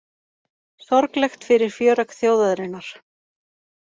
Sorglegt fyrir fjöregg þjóðarinnar